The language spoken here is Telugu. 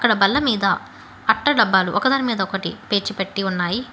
అక్కడ బల్ల మీద అట్ట మీ డబ్బాలు ఒకదాని మీద ఒకటి పేర్చి పెట్టి ఉన్నాయి.